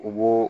U b'o